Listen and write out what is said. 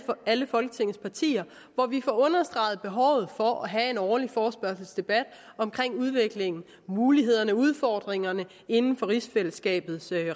folketingets partier hvor vi får understreget behovet for at have en årlig forespørgselsdebat om udviklingen mulighederne og udfordringerne inden for rigsfællesskabets